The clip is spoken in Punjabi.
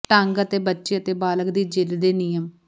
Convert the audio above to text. ਢੰਗ ਅਤੇ ਬੱਚੇ ਅਤੇ ਬਾਲਗ ਦੀ ਜ਼ਿਦ ਦੇ ਨਿਯਮ